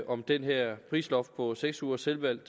om det her prisloft på seks ugers selvvalgt